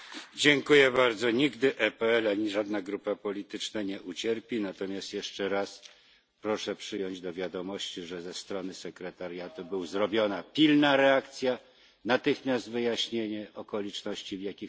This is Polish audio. Nigdy PPE ani żadna grupa polityczna nie ucierpi, natomiast jeszcze raz proszę przyjąć do wiadomości, że ze strony sekretariatu była pilna reakcja, natychmiast wyjaśniono okoliczności, w jakich to się zdarzyło.